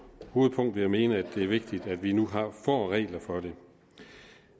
hovedpunkt vil jeg mene at det er vigtigt at vi nu får regler for det